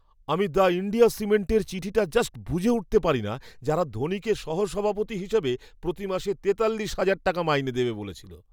আমি the India সিমেন্টের চিঠিটা জাস্ট বুঝে উঠতে পারিনা, যারা ধোনিকে সহ সভাপতি হিসেবে প্রতি মাসে তেতাল্লিশ হাজার টাকা মাইনে দেবে বলেছিল!